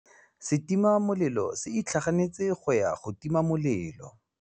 Setima molelô se itlhaganêtse go ya go tima molelô.